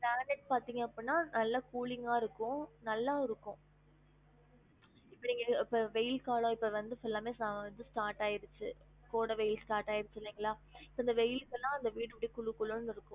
இப்ப granite பாத்திங்க அப்டினா நல்லா cooling ஆ இருக்கும் நல்லாவும் இருக்கும் இப்ப நீங்க இப்ப வெயில் காலம் இப்ப வந்து full ல்லாமே வந்து start ஆயிடுச்சு கோடை வெயில் start ஆயிடுச்சு இல்லைங்களா இப்ப இந்த வெயில்கெல்லாம் இந்த வீடு அப்படி குளுகுளுனு இருக்கும்